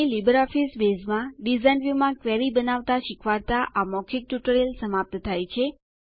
અહીં લીબરઓફીસ બેઝમાં ડીઝાઇન વ્યુંમાં ક્વેરી બનાવવાનું શીખવાડતાં આ મૌખિક ટ્યુટોરીયલ સમાપ્ત થાય છે